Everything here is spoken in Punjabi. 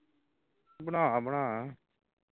ਬਣਾ ਬਣਾ